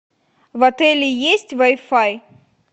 в отеле есть вай фай